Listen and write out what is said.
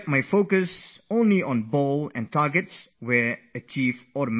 My focus would be on the ball, and slowlyslowly targets were achieved on their own